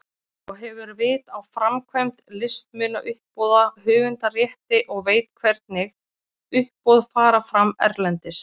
Og hefur vit á framkvæmd listmunauppboða, höfundarrétti og veit hvernig uppboð fara fram erlendis.